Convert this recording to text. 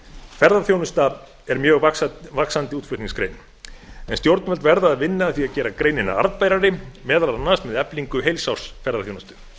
ferðaþjónusta er mjög vaxandi útflutningsgrein en stjórnvöld verða að vinna að því að gera greinina arðbærari meðal annars með eflingu heilsársferðaþjónustu